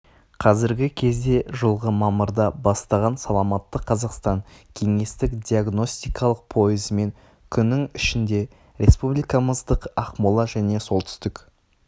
кәзіргі кезде жылғы мамырда бастаған саламатты қазақстан кеңестік диагностикалық пойызымен күнің ішінде республикамыздық ақмола және солтүстік